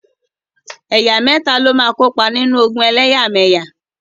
Ẹ̀yà mẹ́ta ló máa kópa nínú ogun ẹlẹ́yàmẹyà.